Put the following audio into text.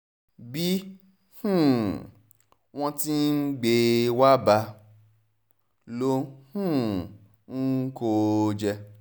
bí um wọ́n ti ń gbé e wàá bá ló um ń kó o jẹ